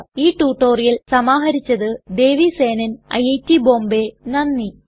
ഈ റ്റുറ്റൊരിയൽ സമാഹരിച്ചത് ദേവി സേനൻ ഐറ്റ് ബോംബേ നന്ദി